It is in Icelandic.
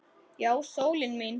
Já, sólin mín.